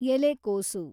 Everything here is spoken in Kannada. ಎಲೆಕೋಸು